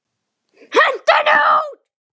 Hentu henni út!